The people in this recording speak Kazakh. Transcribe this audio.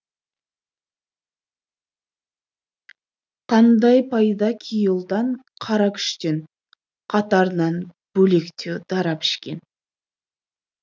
қандай пайда кей ұлдан қара күштен қатарынан бөлектеу дара пішкен